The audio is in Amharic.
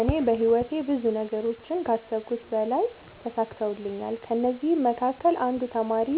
እኔ በህይወቴ ብዙ ነገሮችን ከአሰብሁት በላይ ተሳክተውልኛል ከእነዚህም መካከል አንዱ ተማሪ